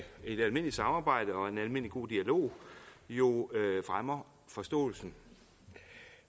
et almindeligt samarbejde og en almindelig god dialog jo fremmer forståelsen